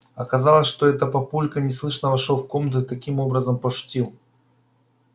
оказалось что это папулька неслышно вошёл в комнату и таким образом пошутил